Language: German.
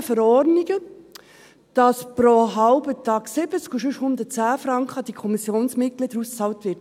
Wir haben überall Verordnungen, in denen steht, dass pro Halbtag 70 und ansonsten 110 Franken an die Kommissionsmitglieder ausbezahlt werden.